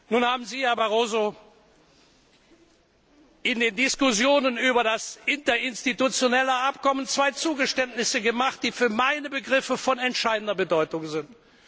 Nun haben Sie, Herr Barroso, in den Diskussionen über das interinstitutionelle Abkommen zwei Zugeständnisse gemacht, die für meine Begriffe von entscheidender Bedeutung sind.